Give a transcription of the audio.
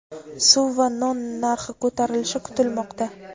suv va non narxi ko‘tarilishi kutilmoqda.